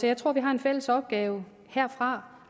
jeg tror vi har en fælles opgave herfra